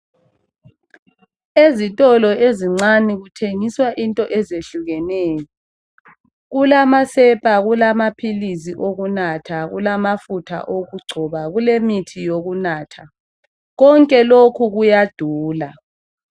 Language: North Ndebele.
ezitolo ezincane kuthengiswa izinto ezehlukeneyo kulamasepa kulamaphilisi okunatha kulamafutha okugcoba kulemithi yokunatha konke lokhu kuyadula